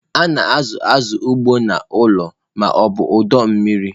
A na-azụ azụ ugbu a n'ụlọ ma ọ bụ ọdọ mmiri.